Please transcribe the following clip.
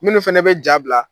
Minnu fɛnɛ bɛ ja bila.